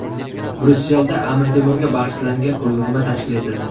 Bryusselda Amir Temurga bag‘ishlangan ko‘rgazma tashkil etildi.